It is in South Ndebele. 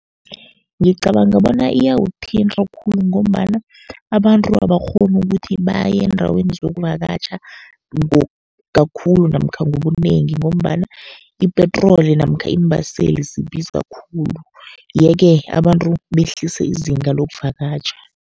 Ngicabanga bona iyawuthinta khulu, ngombana abantu abakghoni ukuthi baye eendaweni zokuvakatjha kakhulu namkha ngobunengi, ngombana ipetroli namkha iimbaseli zibiza khulu. Ye-ke abantu behlise izinga lokuvakatjha.